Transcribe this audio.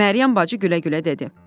Məryəm bacı gülə-gülə dedi: